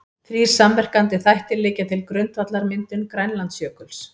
Þrír samverkandi þættir liggja til grundvallar myndun Grænlandsjökuls.